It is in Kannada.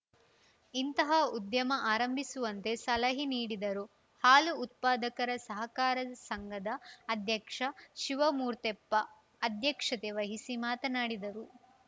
ಇಂತಹ ಉದ್ಯಮ ಆರಂಭಿಸುವಂತೆ ಸಲಹೆ ನೀಡಿದರು ಹಾಲು ಉತ್ಪಾದಕರ ಸಹಕಾರ ಸಂಘದ ಅಧ್ಯಕ್ಷ ಶಿವಮೂರ್ತೆಪ್ಪ ಅಧ್ಯಕ್ಷತೆ ವಹಿಸಿ ಮಾತನಾಡಿದರು